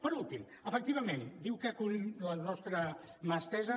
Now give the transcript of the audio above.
per últim efectivament diu que cull la nostra mà estesa